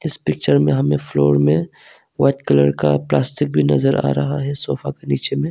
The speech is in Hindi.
इस पिक्चर में हमें फ्लोर में वाइट कलर का प्लास्टिक भी नजर आ रहा है सोफा के नीचे में।